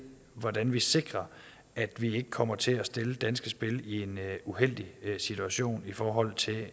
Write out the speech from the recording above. hvordan vi sikrer at vi ikke kommer til at stille danske spil i en uheldig situation i forhold til